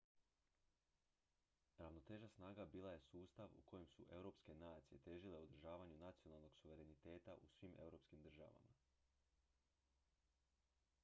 ravnoteža snaga bila je sustav u kojem su europske nacije težile održavanju nacionalnog suvereniteta u svim europskim državama